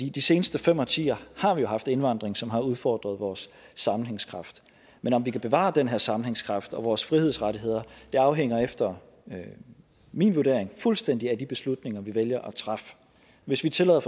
i de seneste fem årtier har vi jo haft indvandring som har udfordret vores sammenhængskraft men om vi kan bevare den her sammenhængskraft og vores frihedsrettigheder afhænger efter min vurdering fuldstændig af de beslutninger vi vælger at træffe hvis vi tillader